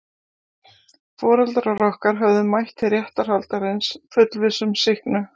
Foreldrar okkar höfðu mætt til réttarhaldsins fullviss um sýknu.